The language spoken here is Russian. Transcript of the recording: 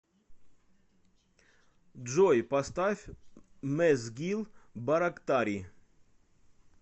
джой поставь мэзгил барактари